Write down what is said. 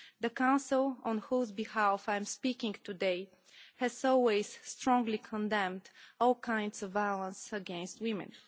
The Council, on whose behalf I'm speaking today, has always strongly condemned all kinds of violence against women.